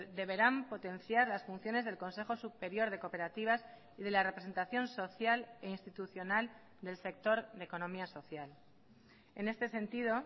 deberán potenciar las funciones del consejo superior de cooperativas y de la representación social e institucional del sector de economía social en este sentido